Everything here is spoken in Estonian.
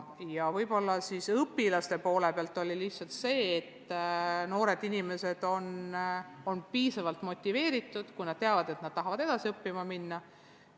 Ja õpilaste poole pealt võib esile tuua lihtsalt selle, et noored inimesed on piisavalt motiveeritud siis, kui nad teavad, et nad tahavad edasi õppima minna.